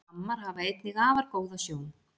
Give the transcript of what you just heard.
Gammar hafa einnig afar góða sjón.